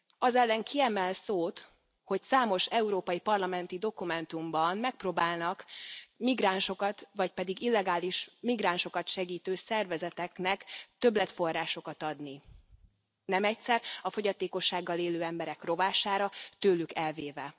Az ellen ki emel szót, hogy számos európai parlamenti dokumentumban megpróbálnak migránsokat, vagy pedig illegális migránsokat segítő szervezeteknek többletforrásokat adni, nem egyszer a fogyatékossággal élő emberek rovására, tőlük elvéve.